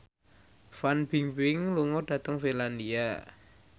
Fan Bingbing lunga dhateng Finlandia